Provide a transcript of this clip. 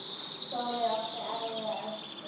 Þórir átti erfiða æsku.